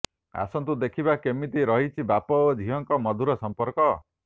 ଆସନ୍ତୁ ଦେଖିବା କେମିତି ରହିଛି ବାପା ଓ ଝିଅଙ୍କ ମଧୁର ସମ୍ପର୍କ